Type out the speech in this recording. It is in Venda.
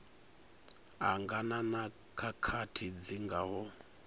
angana na khakhathi dzi ngaho